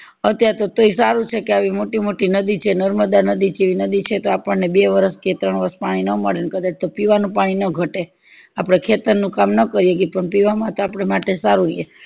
અત્યારે તો તોઈ સારું છે કે આવી મોટી મોટી નદી છે નર્મદા નદી જેવી નદી છે તો આપણને બે વરસ કે ત્રણ વરસ પાણી નો મળે ને કદાચ તો પીવાનું પાણી નો ઘટે આપડે ખેતર નું કામ ના કરીએ તો પીવામાં આપદા માટે સારું છે એમ